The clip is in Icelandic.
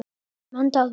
Nei, svaraði hún lágt.